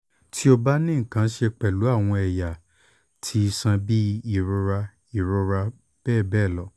ti o ba ni nkan ṣe pẹlu awọn ẹya ti iṣan bi irora irora bbl